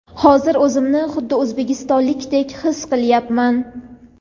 hozir o‘zimni xuddi o‘zbekistonlikdek his qilyapman.